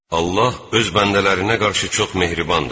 Allah öz bəndələrinə qarşı çox mehribandır.